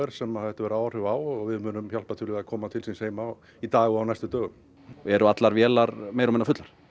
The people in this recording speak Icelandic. sem þetta hefur áhrif á og við munum hjálpa til við að koma til síns heima í dag og á næstu dögum eru allar vélar meira og minna fullar